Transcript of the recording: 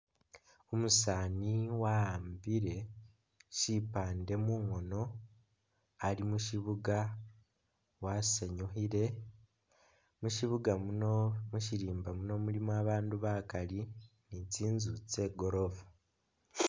Umusani wa'ambile sipande mungono alimushibuga wasanyukhile, mushibuga munomusirimba muno mulimo abandu bakaali ni'tsinzu tse'goorofa